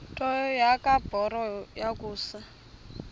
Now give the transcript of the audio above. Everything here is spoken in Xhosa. nto kubarrow yokusa